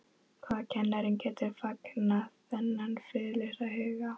Hvaða kennari getur fangað þennan friðlausa huga?